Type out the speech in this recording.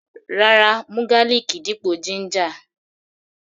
Rárá, mú garlic dípò ginger.